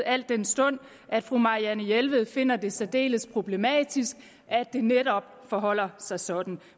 al den stund fru marianne jelved finder det særdeles problematisk at det netop forholder sig sådan